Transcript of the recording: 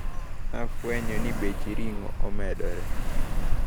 Nafwenyo ni bech ring`o nemedore.